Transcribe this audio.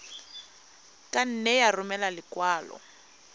ka nne ya romela lekwalo